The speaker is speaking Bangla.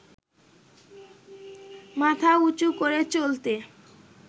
মাথা উচু করে চলতে